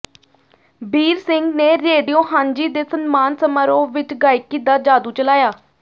ਬੀਰ ਸਿੰਘ ਨੇ ਰੇਡੀਓ ਹਾਂਜੀ ਦੇ ਸਨਮਾਨ ਸਮਾਰੋਹ ਵਿਚ ਗਾਇਕੀ ਦਾ ਜਾਦੂ ਚਲਾਇਆ